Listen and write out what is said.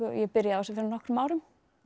ég byrjaði á þessu fyrir nokkrum árum